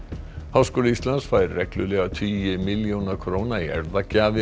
háskóli Íslands fær reglulega tugi milljóna króna í